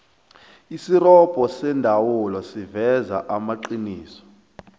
isirobho seendawula siveza amaqiniso